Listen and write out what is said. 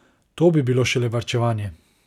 To bi bilo šele varčevanje!